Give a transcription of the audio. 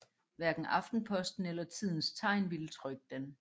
Hverken Aftenposten eller Tidens Tegn ville trykke den